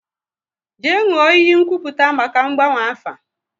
Jee nwụọ iyi nkwupụta maka ngbanwe afa!